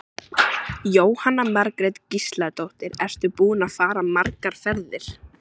Jóhanna Margrét Gísladóttir: Ertu búinn að fara margar ferðir?